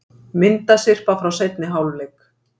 Myndasyrpa frá seinni hálfleik